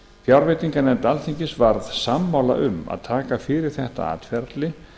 fjárveitinganefnd alþingis var sammála um að taka fyrir þetta atferli